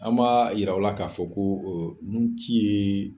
An b'a yiraw la ka fɔ ko oo nun ci ye